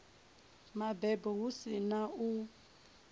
mabebo hu si na u